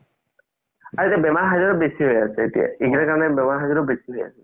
আৰু এতিয়া বেমাৰ বেচি এতিয়া বেচি হয় আছে